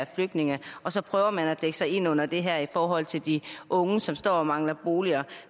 flygtninge og så prøver man at dække sig ind under det her i forhold til de unge som står og mangler boliger